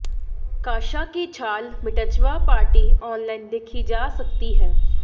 काशा की छाल मिट्जवा पार्टी ऑनलाइन देखी जा सकती है